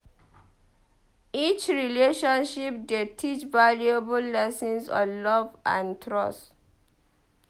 Each relationship dey teach valuable lessons on love and trust.